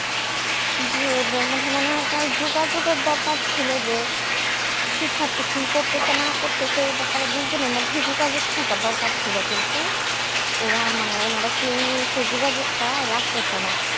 জি অভিভাবকের যোগাযোগের দরকার ছিল যে শিক্ষার্থী কি করতেছে না করতেছে এই ব্যাপারে দুজনের মধ্যে যোগাযোগ থাকা দরকার ছিল কিন্তু ওরা মানে কেউই যোগাযোগটা রাখতে চেনা